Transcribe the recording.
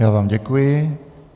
Já vám děkuji.